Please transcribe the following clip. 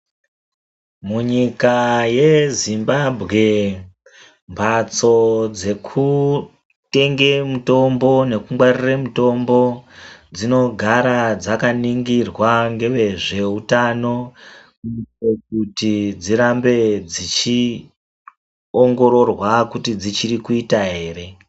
Munyika yeZimbabwe mbatso dzekutenge mutombo nekungwarira mutombo dzinogara dzakaningirwa ngevezveutano kuitira kuti dzirambe dzichiongororwa kuti dzichiri kuita ere.